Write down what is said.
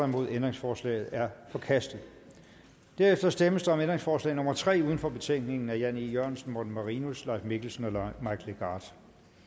nul ændringsforslaget er forkastet herefter stemmes der om ændringsforslag nummer tre uden for betænkningen af jan e jørgensen morten marinus leif mikkelsen og mike legarth